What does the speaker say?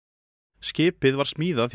skipið var smíðað hjá